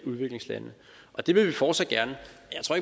udviklingslande det vil vi fortsat gerne